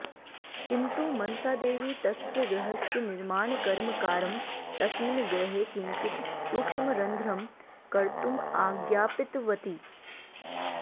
किन्तु मनसादेवी तस्य गृहस्य निर्माणकर्मकारं तस्मिन् गृहे किञ्चित् सूक्ष्मरन्ध्रं कर्तुम् आज्ञापितवती